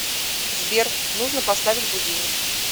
сбер нужно поставить будильник